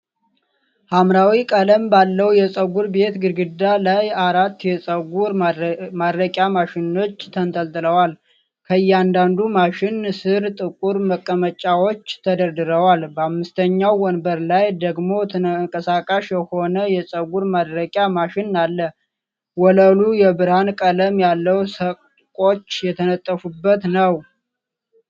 ሐምራዊ ቀለም ባለው የፀጉር ቤት ግድግዳ ላይ አራት የፀጉር ማድረቂያ ማሽኖች ተንጠልጥለዋል። ከእያንዳንዱ ማሽን ስር ጥቁር መቀመጫዎች ተደርድረዋል። በአምስተኛው ወንበር ላይ ደግሞ ተንቀሳቃሽ የሆነ የፀጉር ማድረቂያ ማሽን አለ። ወለሉ የብርሃን ቀለም ያለው ሰቆች የተነጠፉበት ነው።